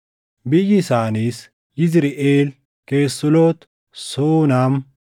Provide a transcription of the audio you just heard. Biyyi isaaniis: Yizriʼeel, Kesuloot, Suunam,